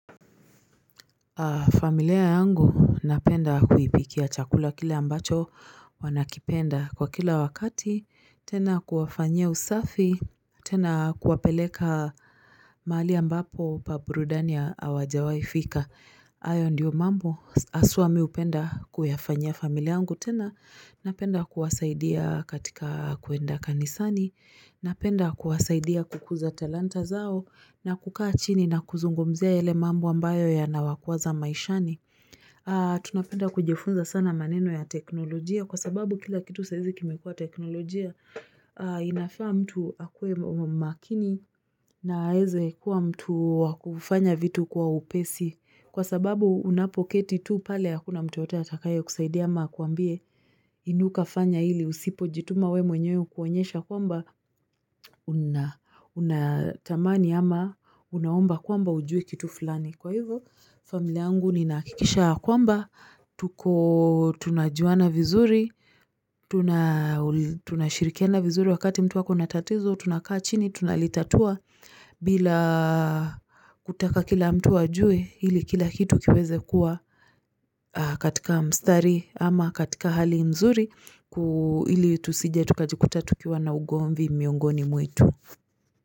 Familia yangu napenda kuipikia chakula kile ambacho wanakipenda kwa kila wakati, tena kuwafanye usafi, tena kuwapeleka mali ambapo pa burudania hawajawai fika. Hayo ndiyo mambo, aswa mimi upenda kuyafanya familia angu tena, napenda kuwasaidia katika kuenda kanisani, napenda kuwasaidia kukuza talanta zao na kukaa chini na kuzungomzea ele mambo ambayo ya nawakuaza maishani. Tunapenda kujifunza sana maneno ya teknolojia kwa sababu kila kitu saizi kime kuwa teknolojia inafaa mtu akwe makini na heze kuwa mtu wakufanya vitu kwa upesi kwa sababu unapoketi tu pale hakuna mtu yote atakayo kusaidia ama kuambie inuka fanya hili usipo jituma we mwenye ukuonyesha kuamba unatamani ama unaomba kuamba ujue kitu fulani Kwa hivyo, familia yangu ni nakikisha kwamba, tuko tunajuana vizuri, tunashirikiana vizuri wakati mtu wako natatizo, tunakaa chini, tunalitatua bila kutaka kila mtu wajue, hili kila kitu kiweze kuwa katika mstari ama katika hali mzuri, hili tusijetukajikuta tukiwa na ugombi miongoni mwetu.